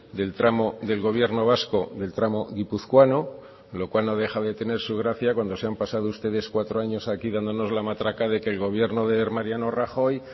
del tramo del gobierno vasco del tramo guipuzcoano lo cual no deja de tener su gracia cuando se han pasado ustedes cuatro años aquí dándonos la matraca de que el gobierno de mariano rajoy